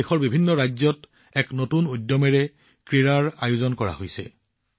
আজি দেশৰ বিভিন্ন ৰাজ্যত এক নতুন উদ্যমেৰে ক্ৰীড়াৰ আয়োজন কৰা হৈছে